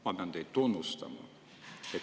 Ma pean teid tunnustama.